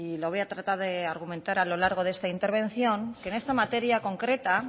lo voy a tratar de argumentar a lo largo de esta intervención que en esta materia concreta